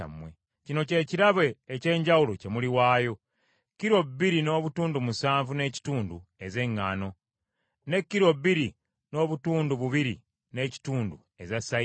“ ‘Kino kye kirabo eky’enjawulo kye muliwaayo: kilo biri n’obutundu musanvu n’ekitundu ez’eŋŋaano, ne kilo bbiri n’obutundu bubiri n’ekitundu eza sayiri.